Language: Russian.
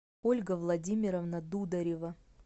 ольга владимировна дударева